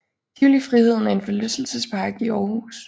Tivoli Friheden er en forlystelsespark i Aarhus